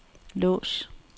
lås